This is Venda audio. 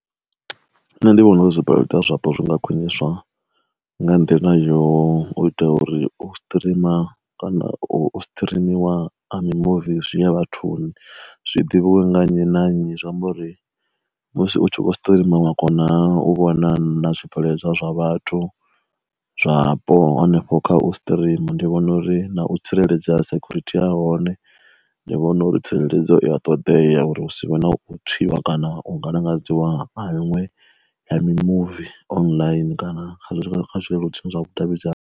Nṋe ndi vhona uri zwi bveledzwa zwapo zwi nga khwiniswa nga nḓila yo u ita uri o streamer, kana u strimiwa a mi muvi zwi ya vhathuni, zwiḓivhiwe nga nnyi na nnyi, zwi amba uri musi u tshi kho streamer wa kona u vhona na zwi bveledzwa zwa vhathu zwapo hanefho kha u streamer. Ndi vhona uri na u tsireledza security ya hone ndi vhona uri tsireledzo i ya ṱodea uri hu si vhe na u tswiwa kana u ngalangadziwa ha miṅwe ya mimuvi online kana kha kha kha zwileludzi zwa vhu davhidzani.